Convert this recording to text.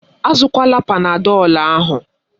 Azụkwala Panadọlu ahụ.